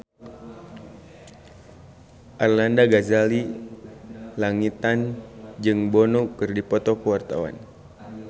Arlanda Ghazali Langitan jeung Bono keur dipoto ku wartawan